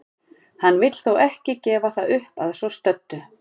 Hann vill þó ekki gefa það upp að svo stöddu.